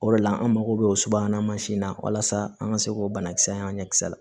O de la an mago bɛ o subahana mansin na walasa an ka se k'o banakisɛ y'an ɲɛ kisɛ la